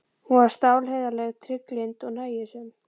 Hún var stálheiðarleg, trygglynd og nægjusöm.